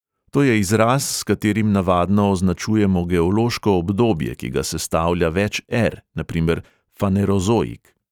To je izraz, s katerim navadno označujemo geološko obdobje, ki ga sestavlja več ȇr, na primer fanerozoik.